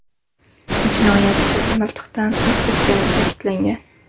Jinoyatchi miltiqdan o‘q uzgani ta’kidlangan.